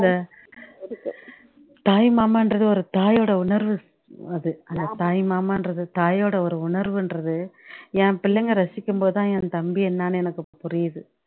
அந்த தாய்மாமான்றது ஒரு தாயோட உணர்வு அது அந்த தாய்மாமான்றது தாயோட ஒரு உணர்வுன்றது என் பிள்ளைங்க ரசிக்கும்போது தான் என் தம்பி என்னனு எனக்கு புரியுது